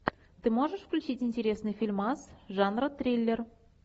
ты можешь включить интересный фильмас жанра триллер